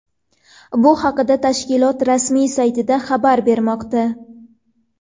Bu haqida tashkilot rasmiy saytida xabar bermoqda .